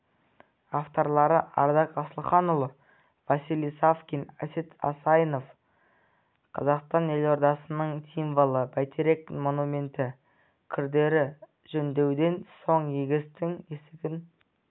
авторлары ардақ асылханұлы василий савкин әсет асайынов қазақстан елордасының символы бәйтерек монументі күрделі жөндеуден соң есігін